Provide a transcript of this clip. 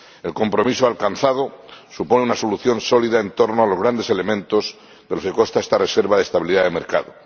El compromiso alcanzado supone una solución sólida en torno a los grandes elementos de los que consta esta reserva de estabilidad del mercado.